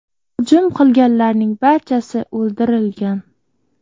Hujum qilganlarning barchasi o‘ldirilgan.